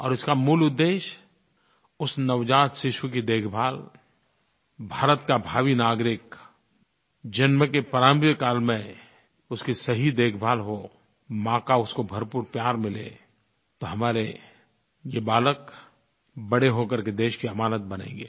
और उसका मूल उद्देश्य उस नवजात शिशु की देखभाल भारत का भावी नागरिक जन्म के प्रारम्भिक काल में उसकी सही देखभाल हो माँ का उसको भरपूर प्यार मिले तो हमारे ये बालक बड़े हो करके देश की अमानत बनेंगे